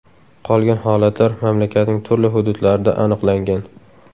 Qolgan holatlar mamlakatning turli hududlarida aniqlangan.